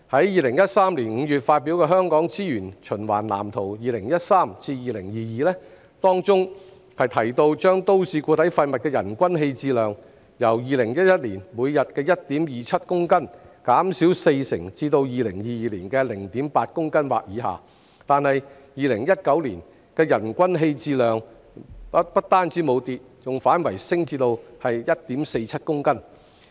2013年5月發表的《香港資源循環藍圖 2013-2022》提到將都市固體廢物人均棄置量由2011年每日 1.27 公斤減少四成至2022年的 0.8 公斤或以下，但是 ，2019 年的人均棄置量不單沒有下跌，更反升至 1.47 公斤。